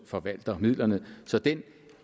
forvalter midlerne så den